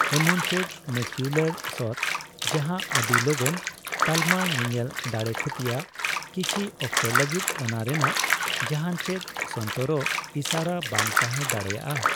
ᱮᱢᱚᱱᱪᱮᱫ ᱢᱮᱠᱤᱣᱞᱚᱨ ᱥᱳᱛᱷ, ᱡᱟᱦᱟᱸ ᱟᱹᱰᱤ ᱞᱚᱜᱚᱱ ᱛᱟᱞᱢᱟ ᱧᱮᱧᱮᱞ ᱫᱟᱲᱮᱭ ᱠᱷᱩᱛᱤᱭᱟ, ᱠᱤᱪᱷᱤ ᱚᱠᱛᱚ ᱞᱟᱹᱜᱤᱫ ᱚᱱᱟ ᱨᱮᱱᱟᱜ ᱡᱟᱦᱟᱱ ᱪᱮᱫ ᱥᱚᱱᱛᱚᱨᱚᱜ ᱤᱥᱟᱹᱨᱟ ᱵᱟᱝ ᱛᱟᱦᱮᱸ ᱫᱟᱲᱮᱭᱟᱜᱼᱟ ᱾